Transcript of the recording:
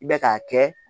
I bɛ k'a kɛ